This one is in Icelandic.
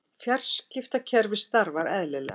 Fjarskiptakerfið starfar eðlilega